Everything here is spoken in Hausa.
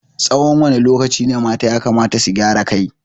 Tsawan wane lokaci ne mata yakamata su gyaran kai?